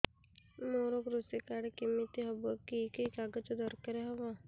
ମୋର କୃଷି କାର୍ଡ କିମିତି ହବ କି କି କାଗଜ ଦରକାର ହବ